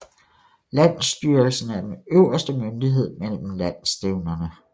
Landsstyrelsen er den øverste myndighed mellem landsstævnerne